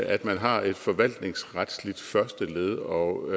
at man har et forvaltningsretligt første led og